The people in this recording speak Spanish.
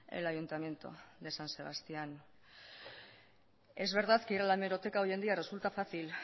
el ayuntamiento de san sebastián es verdad que ir a la hemeroteca hoy en día resulta fácil